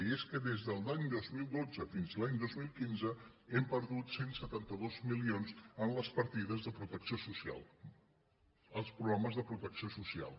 i és que des de l’any dos mil dotze fins a l’any dos mil quinze hem perdut cent i setanta dos milions en les partides de protecció social als programes de protecció social